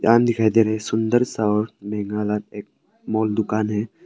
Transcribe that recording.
दुकान दिखाई दे रहे हैं सुंदर सा और एक माल दुकान है।